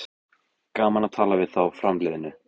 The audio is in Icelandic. Gaman að tala við þá framliðnu